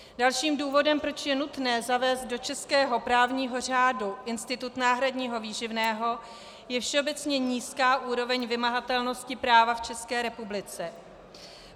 Dalším důvodem, proč je nutné zavést do českého právního řádu institut náhradního výživného, je všeobecně nízká úroveň vymahatelnosti práva v České republice.